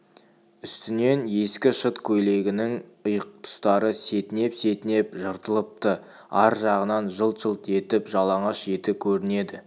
үстіндегі ескі шыт көйлегінің иық тұстары сетінеп-сетінеп жыртылыпты ар жағынан жылт-жылт етіп жалаңаш еті көрінеді